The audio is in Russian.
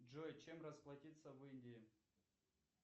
джой чем расплатиться в индии